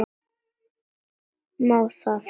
Má það?